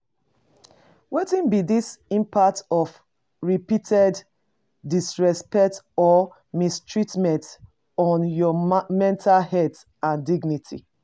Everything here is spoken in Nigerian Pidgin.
Wetin be di impact of repeated disrespect or mistreatment on your mental health and dignity?